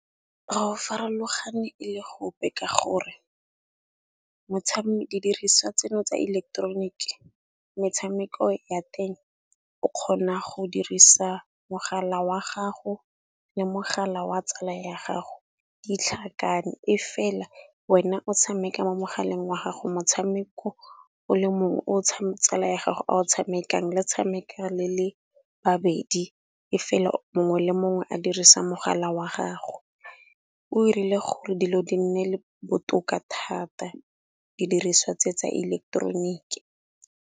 Farologane e le go ope ka gore didiriswa tseno tsa ileketeroniki metshameko ya teng o kgona go dirisa mogala wa gago le mogala wa tsala ya gago ditlhakane, e fela wena o tshameka mo mogaleng wa gago motshameko o le mongwe o tsala ya gago a o tshamekang le tshameka le le babedi e fela mongwe le mongwe a dirisa mogala wa gago. O irile gore dilo di nne le botoka thata didiriswa tse tsa ileketeroniki.